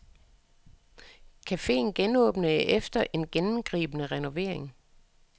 Caféen genåbnede efter en gennemgribende renovering.